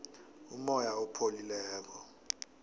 umoya opholileko